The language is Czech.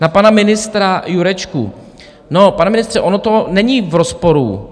Na pana ministra Jurečku: no, pane ministře, ono to není v rozporu.